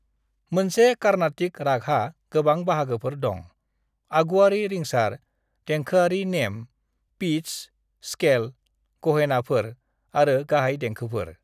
"मोनसे कार्नाटिक रागहा गोबां बाहागोफोर दं - आगुआरि रिंसार, देंखोआरि नेम, पिट्स, स्केल, ग'हेनाफोर, आरो गाहाय देंखोफोर।"